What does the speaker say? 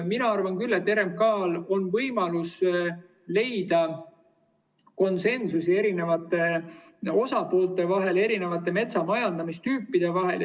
Mina arvan küll, et RMK‑l on võimalus leida konsensus eri osapoolte vahel ja erinevate metsamajandamistüüpide vahel.